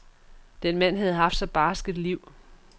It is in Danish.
Den mand havde haft så barskt et liv.